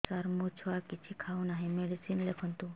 ସାର ମୋ ଛୁଆ କିଛି ଖାଉ ନାହିଁ ମେଡିସିନ ଲେଖନ୍ତୁ